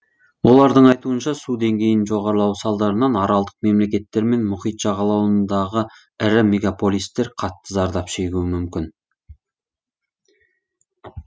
олардың айтуынша су деңгейінің жоғарлауы салдарынан аралдық мемлекеттер мен мұхит жағалауларындағы ірі мегаполистер қатты зардап шегуі мүмкін